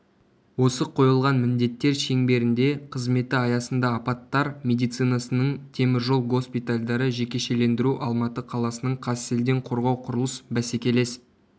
осы қойылған міндеттер шеңберінде қызметі аясында апаттар медицинасының темір жол госпитальдары жекешелендіру алматы қаласының қазселденқорғауқұрылыс бәсекелес